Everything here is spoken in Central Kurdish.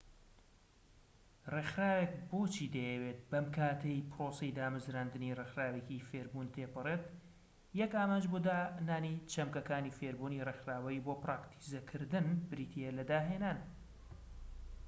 ڕێکخراوێک بۆچی دەیەوێت بەم کاتەی پرۆسەی دامەزراندنی ڕێکخراوێکی فێربوون تێپەڕێت یەک ئامانج بۆ دانانی چەمکەکانی فێربوونی ڕێکخراوەیی بۆ پراکتیزەکردن بریتیە لە داهێنان